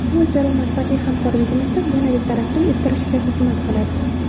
Bu o‘zaro manfaatli hamkorligimizni yanada taraqqiy ettirishga xizmat qiladi.